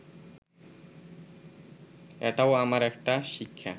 এটাও আমার একটা শিক্ষা